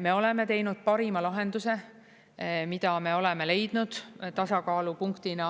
Me oleme teinud parima lahenduse, mida me oleme leidnud tasakaalupunktina